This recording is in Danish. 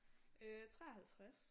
Øh 53